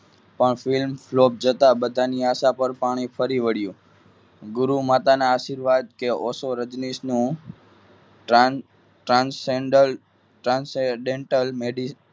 પણ film block જતા બધાને આશા પર પાણી ફરી વળ્યું ગુરુ માતાના આશીર્વાદ કે ઓશો રજનીશનું transgender trans dental medicine